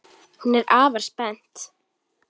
Hún er afar spennt.